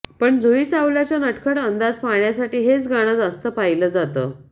पण जुही चावलाच्या नटखट अंदाज पाहण्यासाठी हेच गाणं जास्त पाहिलं जातं